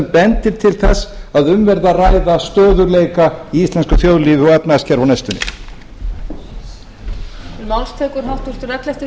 bendir til þess að um verði að ræða stöðugleika í íslensku þjóðlífi og efnahagskerfi á næstunni